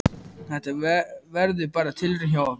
Þetta verður bara tilraun hjá okkur.